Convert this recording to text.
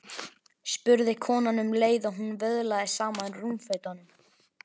spurði konan um leið og hún vöðlaði saman rúmfötunum.